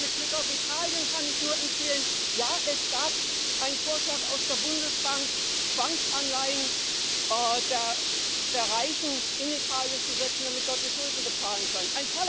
Und mit Blick auf Italien kann ich nur empfehlen Ja, es gab einen Vorschlag aus der Bundesbank, Zwangsanleihen der Reichen in Italien zu setzen, damit die dort die Schulden bezahlen können.